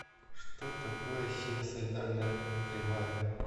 что такое синусоидальная кривая